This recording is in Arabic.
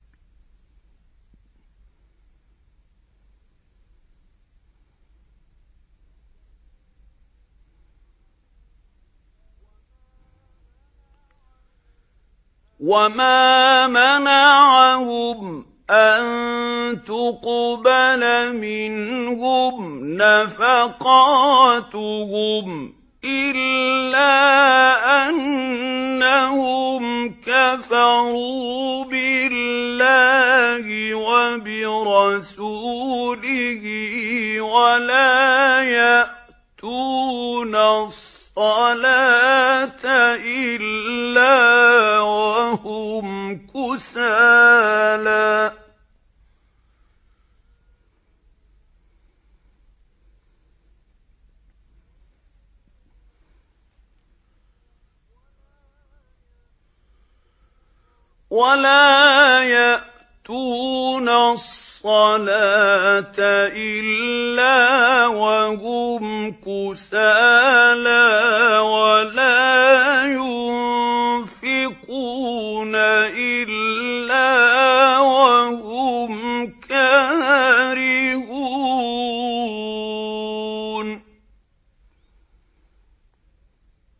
وَمَا مَنَعَهُمْ أَن تُقْبَلَ مِنْهُمْ نَفَقَاتُهُمْ إِلَّا أَنَّهُمْ كَفَرُوا بِاللَّهِ وَبِرَسُولِهِ وَلَا يَأْتُونَ الصَّلَاةَ إِلَّا وَهُمْ كُسَالَىٰ وَلَا يُنفِقُونَ إِلَّا وَهُمْ كَارِهُونَ